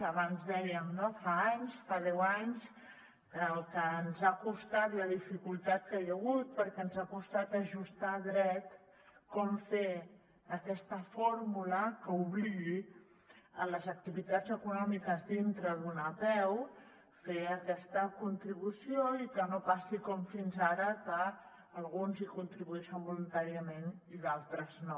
abans ho dèiem no fa anys fa deu anys el que ens ha costat la dificultat que hi ha hagut perquè ens ha costat ajustar a dret com fer aquesta fórmula que obligui les activitats econòmiques dintre d’una apeu a fer aquesta contribució i que no passi com fins ara que alguns hi contribueixen voluntàriament i d’altres no